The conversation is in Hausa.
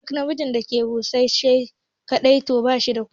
Duk namijin da yake fushi shi kaɗai to bashi da kuɗi